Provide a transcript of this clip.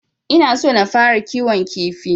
Ina so na fara kiwon kifi.